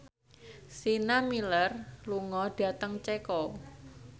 Sienna Miller lunga dhateng Ceko